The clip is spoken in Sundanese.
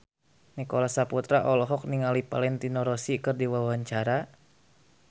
Nicholas Saputra olohok ningali Valentino Rossi keur diwawancara